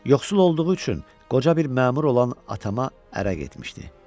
Yoxsul olduğu üçün qoca bir məmur olan atama ərə getmişdi.